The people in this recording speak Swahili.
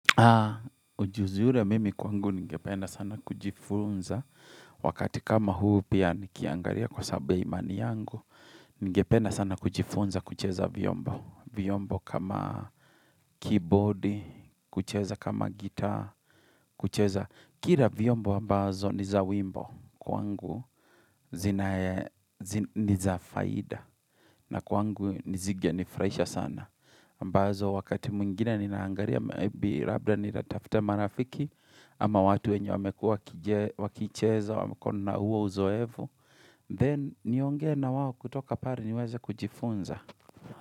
Ha, ujuzi ure mimi kwangu ningependa sana kujifunza wakati kama huu pia nikiangaria kwa sababu ya imani yangu, ningependa sana kujifunza kucheza vyombo, vyombo kama keyboard, kucheza kama gita, kucheza. Kira vyombo ambazo ni za wimbo kwa ngu zinae, ni za faida na kwangu nizige nifurahaisha sana. Ambazo wakati mwingine ninaangaria, labda nitafte marafiki ama watu wenye wamekua wakicheza, wako na huo uzoevu. Then, niongee na wao kutoka pari niweze kujifunza.